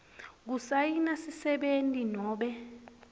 kusayina sisebenti nobe